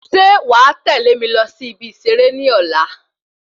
Ṣe wà tẹlẹ mí lọ sí ibi iṣere ní ọ̀la